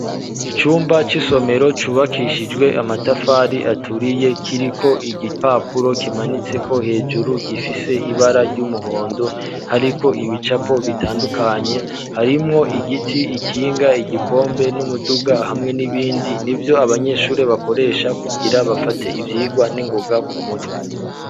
Icumba c'isomero cubakishijwe amatafari aturiye kiriko igipapuro kimanitse ko hejuru gifise ibara ry'umuhondo hariko ibicapo bitandukanye harimwo igiti ikinga igikombe n'umuduga hamwe n'ibindi n'ivyo abanyeshuri bakoresha kugira bafate ivyigwa n'ingoga ku mutwe.